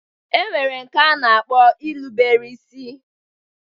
E nwere nke a na-akpọ ilubere isi